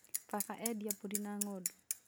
Baba endia mbũri na ng'ondu